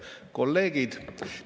Head kolleegid!